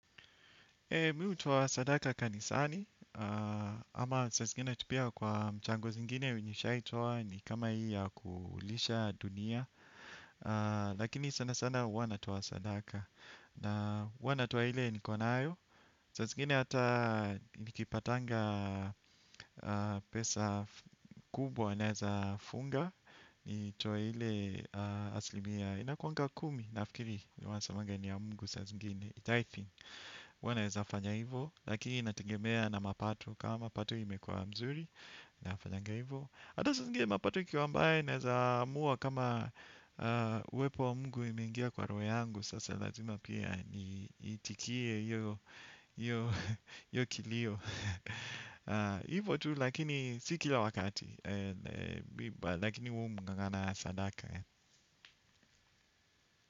Eeh mi hutoa sadaka kanisani, ama saa zingine tu pia kwa mchango zingine nishai toa ni kama hii ya kulisha dunia. Lakini sana sana ua natoa sadaka na ua natoa hile nikonayo. Saa zingine hata nikipatanga pesa kubwa naeza funga. Nitoe ile aslimia inakuanga kumi nafikiri wanasamanga ni ya Mungu saa zingine tithing ua naweza hafanya hivyo lakini inategemea na mapato kama mapato imekuwa mzuri nafanya hivyo ata saa zingine mapato ikiwa mbaya naweza amua kama uwepo wa Mungu imengia kwa rohe yangu sasa lazima pia niitikie hiyo kilio hivyo tu lakini si kila wakati lakini umu ng'ang'ana sadaka.